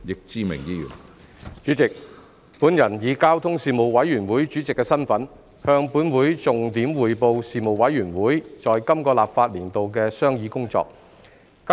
主席，本人以交通事務委員會主席的身份，向本會重點匯報事務委員會在本立法年度的商議工作。